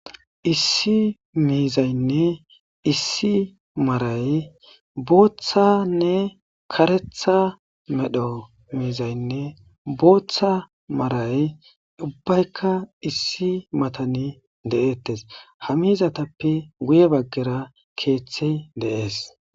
Issi miizaynne issi maaray booththanne karetha medho miizaynne booththa maray ubbaykka issi matani de7eettes ha mizatappe guye baggera keeththe deees.